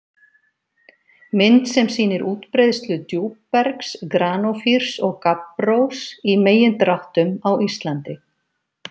Mynd sem sýnir útbreiðslu djúpbergs- granófýrs og gabbrós- í megindráttum á Íslandi.